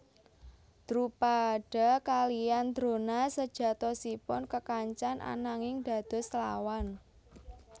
Drupada kaliyan Drona sejatosipun kekancan ananging dados lawan